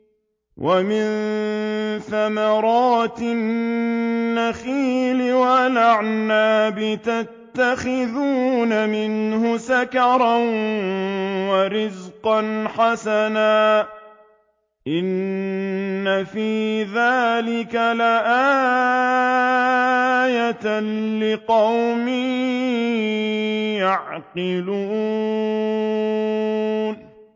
وَمِن ثَمَرَاتِ النَّخِيلِ وَالْأَعْنَابِ تَتَّخِذُونَ مِنْهُ سَكَرًا وَرِزْقًا حَسَنًا ۗ إِنَّ فِي ذَٰلِكَ لَآيَةً لِّقَوْمٍ يَعْقِلُونَ